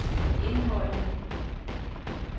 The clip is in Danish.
indholdet